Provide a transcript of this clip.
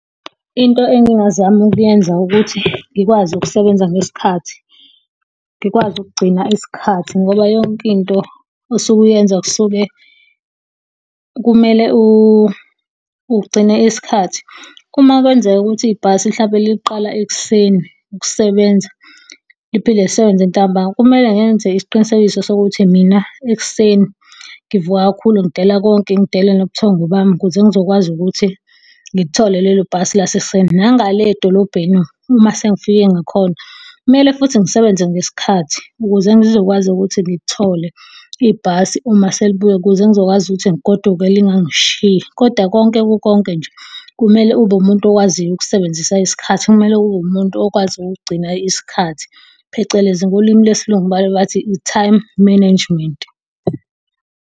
Into engingazama ukuyenza ukuthi, ngikwazi ukusebenza ngesikhathi. Ngikwazi ukugcina isikhathi, ngoba yonke into osuke uyenza kusuke kumele ugcine isikhathi. Uma kwenzeka ukuthi ibhasi hlampe liqala ekuseni ukusebenza, liphinde lisebenze ntambama. Kumele ngenze isiqinisekiso sokuthi mina ekuseni ngivuka kakhulu ngidela konke, ngidele nobuthongo bami, ukuze ngizokwazi ukuthi ngilithole lelo bhasi lasekuseni. Nanga le edolobheni, uma sengifike ngakhona, kumele futhi ngisebenze ngesikhathi, ukuze ngizokwazi ukuthi ngithole ibhasi uma selibuya, ukuze ngizokwazi ukuthi ngigoduke lingangishiyi. Kodwa konke kukonke nje, kumele ube umuntu owaziyo ukusebenzisa isikhathi, kumele ube umuntu okwazi ukugcina isikhathi, phecelezi ngolimi lwesiLungu baye bathi i-time management.